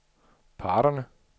parterne